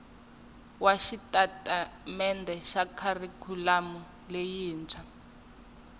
wa xitatimendhe xa kharikhulamu xa